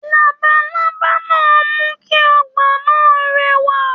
Labalábá náà mú kí ọgbà náà rẹwa.